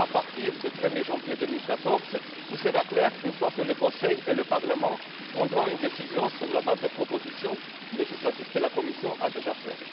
À partir du 1er janvier 2014, tout sera clair une fois que le Conseil et le Parlement auront pris une décision sur la base des propositions législatives que la Commission a déjà faites.